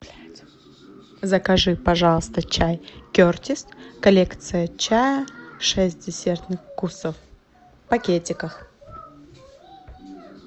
закажи пожалуйста чай кертис коллекция чая шесть десертных вкусов в пакетиках